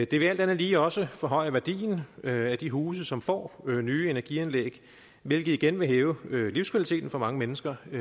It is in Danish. det vil alt andet lige også forhøje værdien af de huse som får nye energianlæg hvilket igen vil hæve livskvaliteten for mange mennesker i